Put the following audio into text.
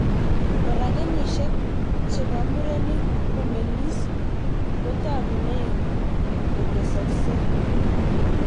Koraa, kenyishek chepk murenik komeng'is kotakunei kotesoksei